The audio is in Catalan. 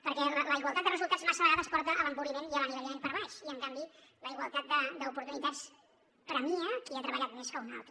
per què la igualtat de resultats massa vegades porta a l’empobriment i a l’anivellament per baix i en canvi la igualtat d’oportunitats premia qui ha treballat més que un altre